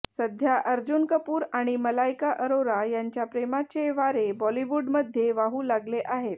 सध्या अर्जुन कपूर आणि मलायका अरोरा यांच्या प्रेमाचे वारे बॉलिवूडमध्ये वाहु लागले आहेत